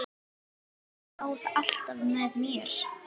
Hún stóð alltaf með mér.